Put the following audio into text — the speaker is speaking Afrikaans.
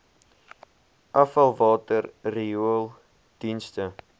afvalwater riool dienste